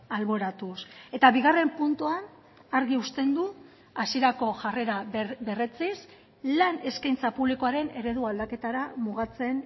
alboratuz eta bigarren puntuan argi uzten du hasierako jarrera berretsiz lan eskaintza publikoaren eredu aldaketara mugatzen